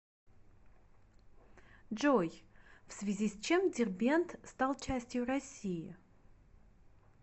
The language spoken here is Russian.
джой в связи с чем дербент стал частью россии